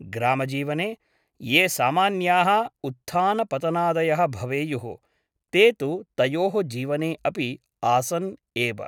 ग्रामजीवने ये सामान्याः उत्थानपतनादयः भवेयुः ते तु तयोः जीवने अपि आसन् एव ।